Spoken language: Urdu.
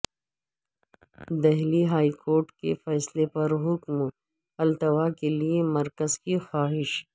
دہلی ہائی کورٹ کے فیصلہ پر حکم التوا کے لئے مرکز کی خواہش